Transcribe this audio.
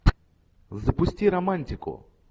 запусти романтику